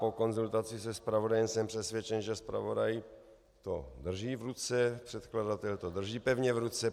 Po konzultaci se zpravodajem jsem přesvědčen, že zpravodaj to drží v ruce, předkladatel to drží pevně v ruce.